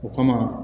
O kama